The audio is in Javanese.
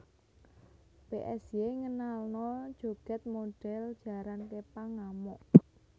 Psy ngenalno joget modhel jaran kepang ngamuk